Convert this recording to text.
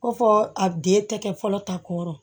Ko fɔ a den tɛ kɛ fɔlɔ ta kɔrɔ